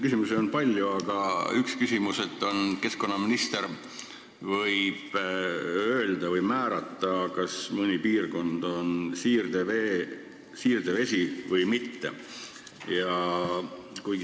Küsimusi on palju, üks neist on selle kohta, et keskkonnaminister võib öelda või määrata, kas mõnes piirkonnas on siirdevesi või mitte.